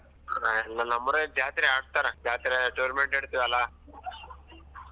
ಇಲ್ಲ ನಮ್ಮೂರಾಗ್ ಜಾತ್ರೆ ಹಾಕ್ತಾರೇ ಜಾತ್ರೆ tournament ಇಡ್ತೀವಲ್ಲ